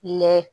Lɛ